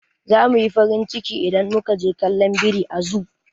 Za muyi farin ciki idan muka je kallon biri a zoo.